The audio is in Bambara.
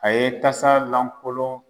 A ye tasa lankolon